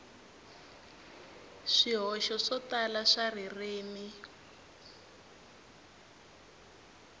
swihoxo swo tala swa ririmi